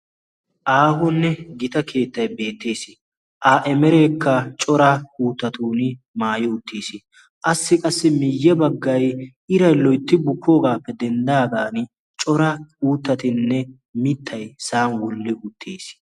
aahonne gita keettay beettees a emereekka cora uuttatun maayo uttiis qassi qassi miyye baggay iray loytti bukkoogaappe denddaagan cora uuttatinne mittay sa'an woll''i uttiis